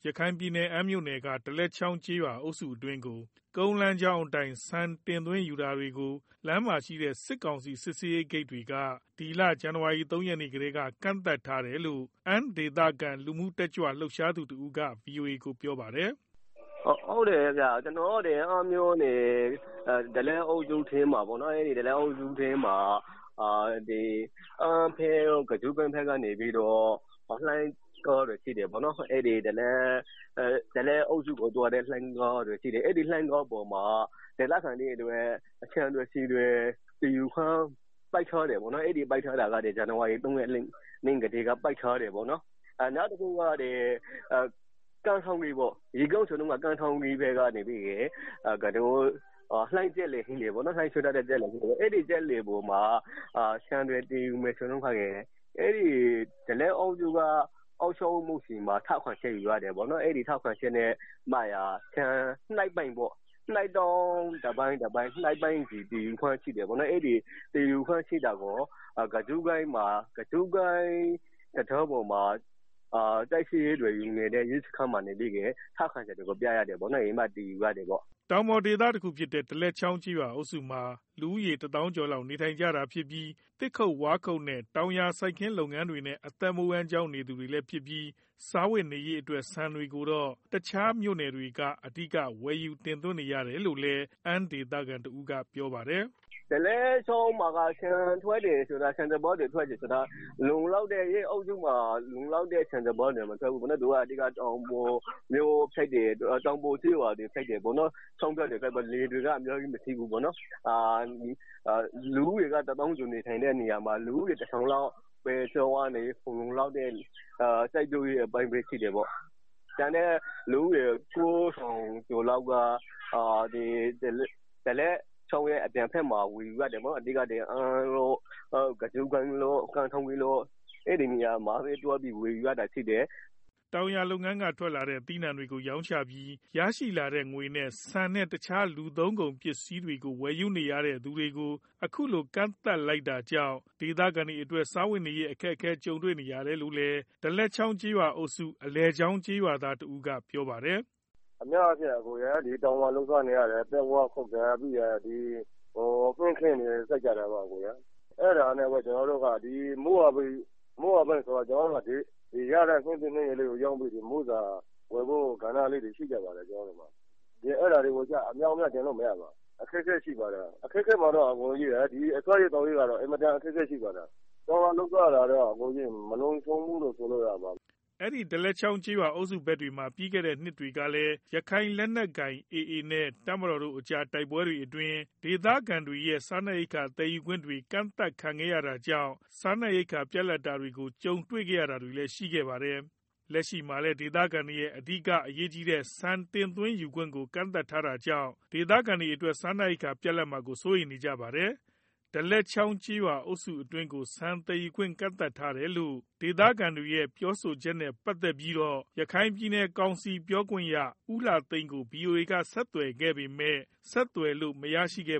ရခိုင်ပြည်နယ် အမ်းမြို့ နယ်က ဒလက်ချောင်းကျေးရွာအုပ်စုအတွင်းသို့ ကုန်းလမ်းကြောင်းအတိုင်း ဆန်တင် ယူတာတွေက လမ်းမှာရှိတဲ့ စစ်ကောင်စီ စစ်ဆေးဂိတ်တွေက ပြီးခဲ့တဲ့ ဇန်နဝါရီလ၃ ရက်နေ့ ကတည်းကကန့်သတ်ထားတယ်လို့ အမ်းဒေသခံ လူမှုရေး တက်ကြွလုှပ်ရှားသူတဦးက ဗွီအိုအေကို ပြောပါတယ်။ “ ကျနော်တို့ အမ်းမြို့နယ် ဒလက်ချောင်းကျေးရွာအုပ်စုထဲမှာပေါ့နော်၊ အမ်းဖက် ကဇုကိုင်းဖက်က ဒလက်ချောင်းကျေးရွာအုပ်စုကို သွားတဲ့ လိုင်းကားတွေရှိတယ်ပေါ့နော်၊ အဲဒီကားတွေကို ဒေသခံတွေအတွက် ဆန်တွေ ဆီတေ သယ်ယူတာကို ပိတ်ထားတယ်ပေါ့နော်၊ ပိတ်ထားတာက ဒီလ ဇန်နဝါရီ ၃ရက်နေ့ ကတည်းက ပိတ်ထားတယ်ပေါ့နော်၊ နောက်တခုက ရေကြောင်းဆိုရင် ကမ်းထောင်းကြီးကနေ စက်လှေတွေရှိတယ်၊ အဲဒီစက်လှေတွေမှာ ဆန်တွေ တင်ယူမယ်ဆိုလို့ရှိရင် ဒလက်ချောင်းကျေးရွာအုပ်စုက အုပ်ချုပ်ရေးမှူးဆီမှာ ထောက်ခံချက်ယူရတယ်။ အဲဒီထောက်ခံချက်နဲ့မှသာ ဆန်လေးတောင်းလောက်သယ်ယူလို့ရတယ်၊ အဲဒီလို သယ်တာကို ကဇုကိုင်းတံတားပေါ်မှာ စစ်ဆေးနေတဲ့ ရဲစခန်းမှာ ထောက်ခံချက်တွေကို ပြရတယ်ပေါ့နော် ။ဒါမှ သယ်ယူလို့ရတာ” တောင်ပေါ်ဒေသဖြစ်တဲ့ ဒလက်အုပ်စုမှာ လူဦးရေ တသောင်းကျော်လောက် နေထိုင်ကြတာဖြစ်ပြီး သစ်ခုတ်၊ဝါးခုတ်နဲ့ တောင်ယာစိုက်ခင်းလုပ်ငန်းတွေနဲ့ အသက်မွေးဝမ်းကြောင်း နေသူတွေလည်းဖြစ်ပြီး စားဝတ်နေရေးအတွက် ဆန်တွေကိုတော့ တစ်ခြားမြို့နယ်တွေက အဓိကဝယ်ယူရတာဖြစ်တယ်လို့လည်း အမ်းဒေသခံတစ်ဦးကပြောပါတယ်။ “ ဒလက်ချောင်းမှာ ဆန်ထွက်တယ်ဆိုတာက အဲဒီအုပ်စုမှာ လုံလောက်တဲ့ ဆန်စပါးတွေ ထွက်လောက်တဲ့ လယ်ကွင်းတွေမရှိဘူးဗျာ။ တောင်ပေါ်ဒေသဖြစ်တဲ့အတွက် လယ်တွေ အများကြီးမရှိဘူး။ လူဦးရေ တသောင်းလောက်နေတဲ့ နေရာမှာ လူဦးရေ တထောင်လောက်ပဲ လုံလောက်တဲ့ စိုက်ပျိုးရေးအပိုင်းပဲ ရှိတယ်ပေါ့၊ ကျန်တဲ့ လူဦးရေ ၉၀၀၀လောက်က ဒလက်ချောင်းရဲ့ အပြင်ဖက်မှာ ဝယ်ယူရတယ်ပေါ့နော်၊ အမ်း၊ ကဇုကိုင်း၊နဲ့ ကမ်းထောင်းကြီး မြို့တို့ အဲဒီနေရာမှာသွားပြီး ဝယ်ယူရတာ၊” တောင်ယာလုပ်ငန်းက ထွက်လာတဲ့ သီးနှံ့တွေကို ရောင်းချပြီး ရလာတဲ့ ပိုက်ဆံနဲ့ ဆန်နဲ့ တစ်ခြား လူသုံးကုန်ပစ္စည်းတွေကို ဝယ်ယူနေရသူတွေကို အခုလို ကန့်သတ်ထားတာကြောင့် ဒေသခံတွေအနေနဲ့ စားဝတ်နေရေး အခက်အခဲ ကြုံနေရတယ်လို့လည်း ဒလက်ချောင်းအုပ်စု အလယ်ချောင်းကျေးရွာသား တစ်ဦးက ပြောပါတယ်။ “ ကျနော်တို့ကတောင်မှာ လုပ်စားနေရတာ သစ်၊ ဝါး ခုတ်တယ်၊ ဟင်းခင်းတွေ စိုက်ကြတာပေါ့၊ အဲဒီကရတဲ့ ဟင်းသီးဟင်းရွက်လေးတွေကို ရောင်းပြီး မိုးစာ အတွက် ဝယ်ကြတာတွေ ရှိပါတယ်၊ အဲဒါတွေကို အမြောက်အမြားတင်လို့မရပါ။ အခက်အခဲရှိကြ ပါတယ်၊စားရေး သောက်ရေးကတော့ အင်မတန် အခက်အခဲရှိပါတယ်” အဲဒီဒလက်အုပ်စုဖက်မှာ ပြီးခဲ့တဲ့ နှစ်တွေကလည်း ရခိုင်လက်နက်ကိုင်AAအဖွဲ့နဲ့ တပ်မတော်တို့ကြား တိုက်ပွဲတွေအတွင်း ဒေသခံတွေရဲ့ စားနပ်ရိက္ခာသယ်ယူခွင့်တွေ ကန့်သတ်ခံခဲ့ရတာကြောင့် စားနပ်ရိက္ခာ ပြတ်လပ်တာတွေကို ကြုံတွေ့ခဲ့ရတာတွေလည်း ရှိခဲ့တာပါ။ လက်ရှိမှာလည်း ဒေသခံတွေရဲ့ အဓိက အရေးကြီးတဲ့ ဆန်တင်ယူခွင့်တွေကို ကန့်သတ်ထားတာကြောင့် ဒေသခံတွေအနေနဲ့ စားနပ်ရိက္ခာပြတ်လပ်မှာကို စိုးရိမ်နေကြ တာလည်းဖြစ် ပါတယ်။ဒလက်ချောင်းကျေးရွာအုပ်စုအတွင်းသို့ ဆန်သယ်ယူခွင့်ကန့်သတ်ထားရတယ်လို့ ဒေသခံတွေရဲ့ ပြောဆိုချက်နဲ့ ပတ်သတ်ပြီး ရခိုင်ပြည်နယ်ကောင်စီပြောခွင့်ရ ဦးလှသိန်းကို ဗွီအိုအေက ဆက်သွယ်ခဲ့ပေမယ့် ဆက်သွယ်လို့မရရှိခဲ့